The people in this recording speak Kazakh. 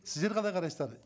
сіздер қалай қарайсыздар